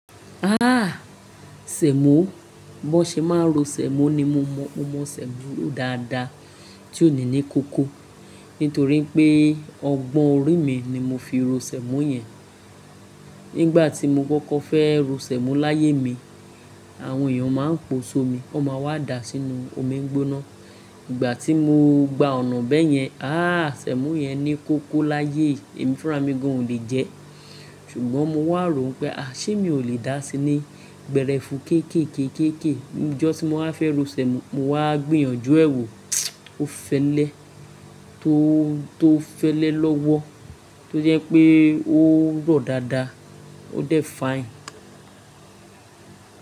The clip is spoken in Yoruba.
Sèmó, bó ṣe máa ro sèmó ni mo mọ, mo mọ sèmó ro dáadáa tí òní ni kóko. Nítorí pé ọgbọ́n orí mi ni mo fi ro sèmó yẹn. Nígbà tí mo kọ́kọ́ fẹ́ ro sèmó láyé mi, àwọn èèyàn máa ń pòṣo mi, wọ́n máa wá dà á sínú omi gbóná. Ìgbà tí mo gba ọ̀nà bẹ́yẹn, Sèmó yẹn ni kóko láyé, èmi fúnra mi gan ò lè jẹ ẹ́. Ṣùgbọ́n mo wà ró pé, à ṣé mi ò lè dà á sí ní gbẹrẹfu kéékéékééké. Ni jọ́ tí mo wá fẹ́ ro sèmó, mo wá gbìyànjú ẹ wò, ó fẹ́lẹ́ tó, tó fẹ́lẹ́ lọ́wọ́, tó jẹ́ pé ó rọ̀ dáadáa, ó dẹ̀ fine.